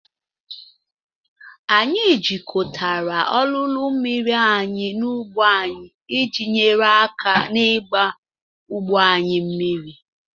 Anyị jikọtara olulu mmiri anyị na ugbo anyị iji nyere aka n'ịgba ugbo anyị mmiri.